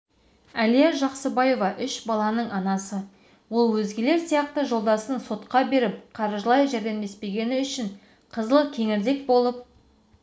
әлия жақсыбаева үш баланың анасы ол өзгелер сияқты жолдасын сотқа беріп қаржылай жәрдемдеспегені үшін қызыл кеңірдек болып